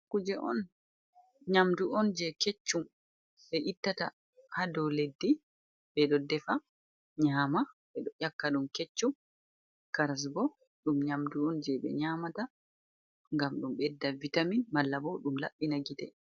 Kuje on ,nyamdu on, jey keccum ɓe ittata haa dow leddi. Ɓe ɗo defa nyaama ,ɓe ɗo ƴakka ɗum keccum karas bo ɗum nyamdu on, jey ɓe nyamata ngam ɗum ɓedda vitamin malla bo ɗum laɓɓina gite.